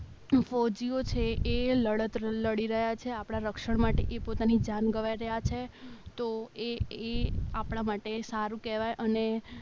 ફોજીયો છે એ લડત લડી રહ્યા છે આપણા રક્ષણ માટે એ પોતાની જાણ ગવાઈ રહ્યા છે તો એ એ આપણા માટે સારું કહેવાય અને